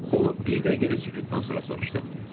O, bir dəqiqəlik sükutdan sonra soruşdu.